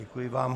Děkuji vám.